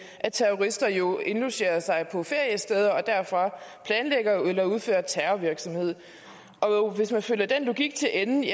at terrorister jo indlogerer sig på feriesteder og derfra planlægger eller udfører terrorvirksomhed hvis man følger den logik til ende